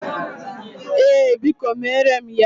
Ee, Biko mere m ya.